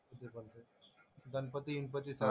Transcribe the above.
Ganpati वनपतीचा,